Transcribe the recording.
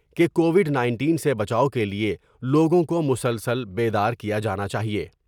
کے covid nineteen سے بچاؤ کے لئے لوگوں کو مسلسل بیدار کیا جانا چاہئے ۔